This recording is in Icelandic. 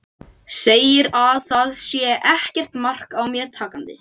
Segir að það sé ekkert mark á mér takandi.